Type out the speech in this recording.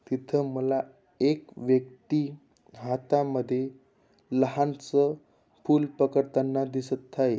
तिथ मला एक व्यक्ती हातामध्ये लहानस फूल पकडताना दिसत आहे.